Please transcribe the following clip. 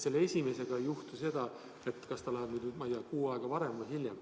Selle järjekorras esimesega võib-olla ei juhtu seda, olenemata sellest, kas ta jõuab sinna kuu aega varem või hiljem.